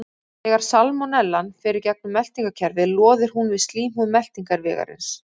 Þegar salmonellan fer í gegnum meltingarkerfið loðir hún við slímhúð meltingarvegarins.